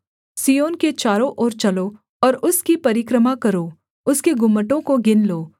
सिय्योन के चारों ओर चलो और उसकी परिक्रमा करो उसके गुम्मटों को गिन लो